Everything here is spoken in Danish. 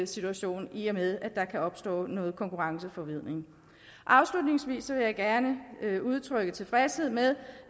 situation i og med at der kan opstå noget konkurrenceforvridning afslutningsvis vil jeg gerne udtrykke tilfredshed med